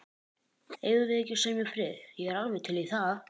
Eigum við ekki að semja frið. ég er alveg til í það.